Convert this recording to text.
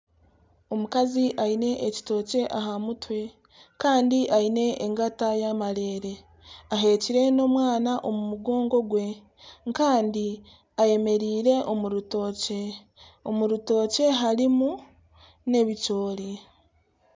Omukazi aine ekitookye aha mutwe, kandi engata y'amareere, ahekire n'omwana omu mugongo gwe kandi eyemereire omu rutookye, omu rutookye harimu n'ebicoori